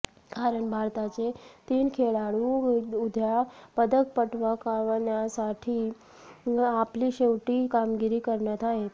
कारण भारताचे तीन खेळाडू उद्या पदक पटकावण्यासाठी आपली शेवटची कामगिरी करणार आहेत